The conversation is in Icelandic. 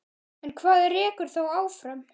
En hvað rekur þá áfram?